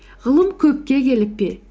ғылым көпке келіп пе